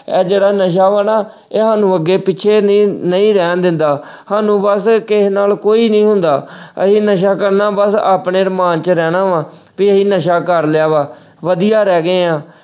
ਐ ਜਿਹੜਾ ਨਸ਼ਾ ਵਾ ਨਾ ਇਹ ਸਾਨੂੰ ਅੱਗੇ ਪਿੱਛੇ ਨ ਅਹ ਨਹੀਂ ਰਹਿਣ ਦਿੰਦਾ ਸਾਨੂੰ ਬੱਸ ਕਿਸੇ ਨਾਲ ਕੋਈ ਨਹੀਂ ਹੁੰਦਾ ਅਹ ਅਸੀਂ ਨਸ਼ਾ ਕਰਨਾ ਬੱਸ ਆਪਣੇ ਅਰਮਾਨ ਚ ਰਹਿਣਾ ਵਾ ਤੇ ਅਸੀਂ ਨਸ਼ਾ ਕਰ ਲਿਆ ਵਾ, ਵਧੀਆ ਰਹਿ ਗਏ ਆ।